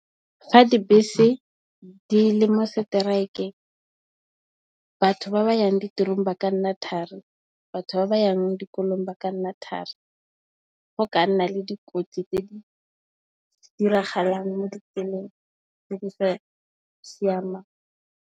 Fa dibese di le mo seteraekeng batho ba ba yang ditirong ba ka nna thari, batho ba ba yang dikolong ba ka nna thari. Go ka nna le dikotsi tse di diragalang mo ditseleng tse di sa siamang.